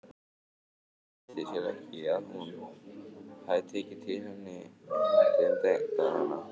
Leyndi sér ekki að hún hafði tekið til hendi um dagana.